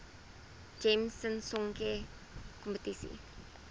gems sisonke kompetisie